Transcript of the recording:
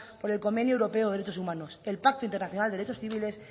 por el convenio europeo de derechos humanos el pacto internacional de derechos civiles